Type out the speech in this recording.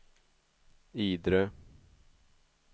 Idre